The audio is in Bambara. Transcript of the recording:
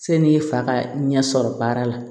Sani e fa ka ɲɛ sɔrɔ baara la